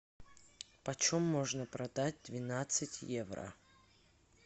почем можно продать двенадцать евро